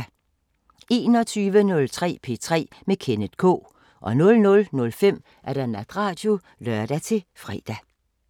21:03: P3 med Kenneth K 00:05: Natradio (lør-fre)